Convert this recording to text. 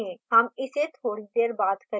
हम इसे थोडी देर बाद करेंगे